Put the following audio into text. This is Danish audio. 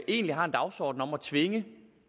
egentlig har en dagsorden om at tvinge